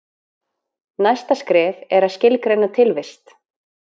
Næsta skref er að skilgreina tilvist.